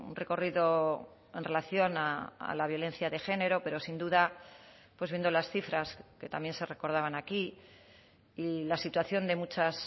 recorrido en relación a la violencia de género pero sin duda pues viendo las cifras que también se recordaban aquí y la situación de muchas